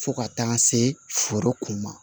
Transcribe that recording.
Fo ka taa se foro kun ma